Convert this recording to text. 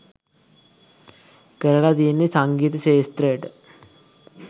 කරල තියෙන්නේ සංගීත ක්ෂේත්‍රයට